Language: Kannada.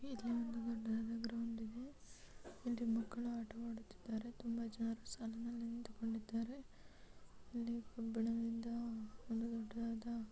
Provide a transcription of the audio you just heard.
ಇಲ್ಲಿ ಒಂದು ದೊಡ್ಡದಾದ ಗ್ರೌಂಡ್ ಇದೆ ಇಲ್ಲಿ ಮಕ್ಕಳು ಆಟವಾಡುತ್ತಿದ್ದಾರೆ ತುಂಬಾ ಜನರು ಸಾಲಿನಲ್ಲಿ ನಿಂತುಕೊಂಡಿದ್ದಾರೆ ಅಲ್ಲಿ ಒಂದು ದೊಡ್ಡದಾದ --